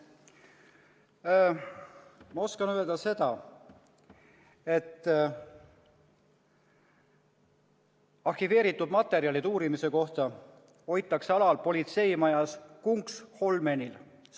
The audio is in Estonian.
Ma oskan öelda seda, et arhiveeritud materjale uurimise kohta hoitakse alal politseimajas Kungsholmenil .